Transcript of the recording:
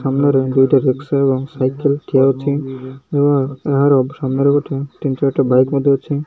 ସାମ୍ନାରେ ଦୁଇଟା ରିକ୍ସା ଏବଂ ସାଇକେଲ୍ ଠିଆହୋଇଛି ଏବଂ ଏହାରେ ସାମ୍ନାରେ ଗୋଟେ ତିନି ଚାର୍ଟା ବାଇକ୍ ମଧ୍ୟ ଅଛି।